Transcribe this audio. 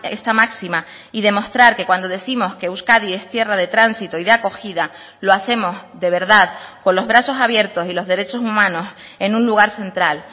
esta máxima y demostrar que cuando décimos que euskadi es tierra de tránsito y de acogida lo hacemos de verdad con los brazos abiertos y los derechos humanos en un lugar central